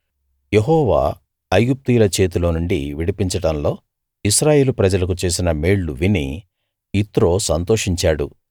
యెహోవా ఐగుప్తీయుల చేతిలో నుండి విడిపించడంలో ఇశ్రాయేలు ప్రజలకు చేసిన మేళ్ళు విని యిత్రో సంతోషించాడు